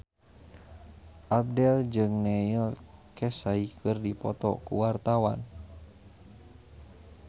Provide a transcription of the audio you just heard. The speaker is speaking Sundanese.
Abdel jeung Neil Casey keur dipoto ku wartawan